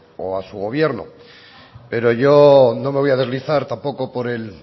o a su gobierno pero yo no me voy a deslizar tampoco por el